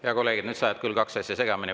Hea kolleeg, nüüd sa ajad küll kaks asja segamini.